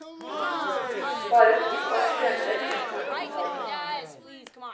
Bare to år senere begynte han å ta stoff.